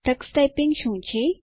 Tux typing શું છે